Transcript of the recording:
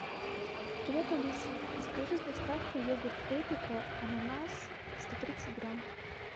привет алиса закажи с доставкой йогурт эпика ананас сто тридцать грамм